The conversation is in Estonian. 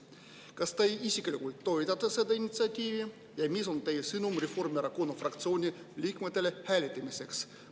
Kas te isiklikult toetate seda initsiatiivi ja mis on teie sõnum Reformierakonna fraktsiooni liikmetele hääletamiseks?